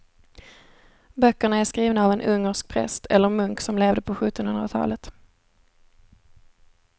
Böckerna är skrivna av en ungersk präst eller munk som levde på sjuttonhundratalet.